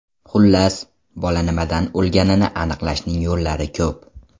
Xullas, bola nimadan o‘lganini aniqlashning yo‘llari ko‘p.